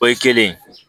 O ye kelen